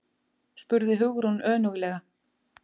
spurði Hugrún önuglega.